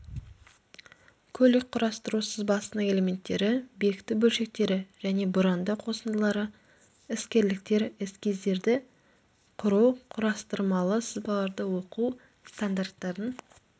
көлік құрастыру сызбасының элементтері бекіту бөлшектері және бұранды қосындылары іскерліктер эскиздерді құру құрастырмалы сызбаларды оқу стандарттардың